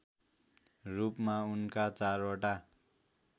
रूपमा उनका चारवटा